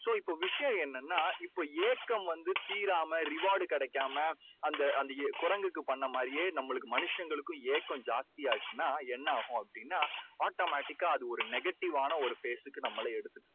so இப்போ விஷயம் என்னன்னா இப்போ ஏக்கம் வந்து தீராம reward கிடைக்காம அந்தக் அந்த குரங்குக்கு பண்ண மாதிரியே நம்மளுக்கு மனுஷங்களுக்கும் ஏக்கம், ஜாஸ்தியா ஆயிடுச்சுன்னா என்ன ஆகும் அப்படின்னா auomatic கா அது ஒரு negative வான phase க்கு நம்மளை எடுத்துகிட்டு போகும்.